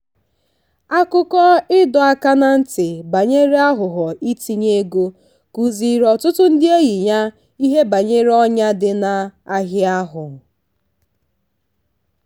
akụkọ ịdọ aka ná ntị ya banyere aghụghọ itinye ego kụziiri ọtụtụ ndị enyi ya ihe banyere ọnyà dị n'ahịa ahụ.